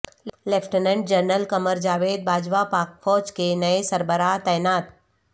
lieutenant general Qamar Javed Bajwa پاک فوج کے نئے سربراہ تعینات